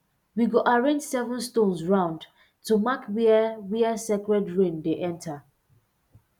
we go arrange seven stones round to mark where where sacred rain dey enter